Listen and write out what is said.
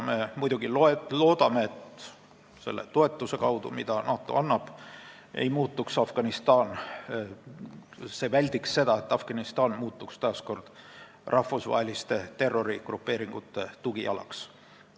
Me muidugi loodame, et selle toetuse kaudu, mida NATO annab, saab vältida seda, et Afganistan muutuks taas kord rahvusvaheliste terrorigrupeeringute tugialaks.